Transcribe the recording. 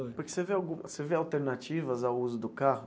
Porque você vê algu você vê alternativas ao uso do carro?